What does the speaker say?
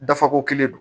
Dafako kelen don